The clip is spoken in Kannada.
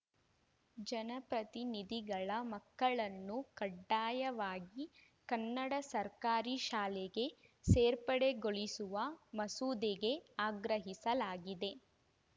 ಜನಪ್ರತಿನಿಧಿಗಳ ಮಕ್ಕಳನ್ನು ಕಡ್ಡಾಯವಾಗಿ ಕನ್ನಡ ಸರ್ಕಾರಿ ಶಾಲೆಗೆ ಸೇರ್ಪಡೆಗೊಳಿಸಿವ ಮಸೂದೆಗೆ ಆಗ್ರಹಿಸಿಲಾಗಿದೆ